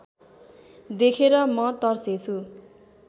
देखेर म तर्सेंछु